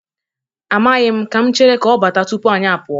Amaghi m. Ka m chere ka ọ bata tupu anyị apụọ.